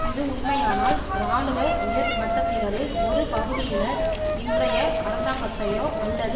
இது உண்மையானால் இராணுவ உயர்மட்டத்தினரில் ஒரு பகுதியினர் இன்றைய அரசாங்கத்தையோ அல்லது